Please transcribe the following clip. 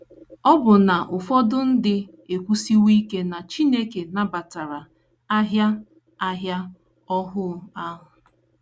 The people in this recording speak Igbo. Ọbụna ụfọdụ ndị ekwusiwo ike na Chineke nabatara ahịa ahịa ohu ahụ.